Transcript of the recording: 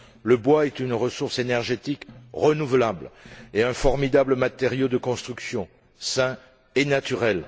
Le bois est une ressource énergétique renouvelable et un formidable matériau de construction sain et naturel.